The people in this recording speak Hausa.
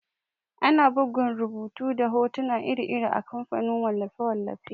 Ana bugun rubutu da hotuna iri-iri a kamfanin wallafe-wallafe.